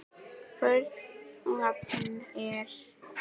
Börn og allir?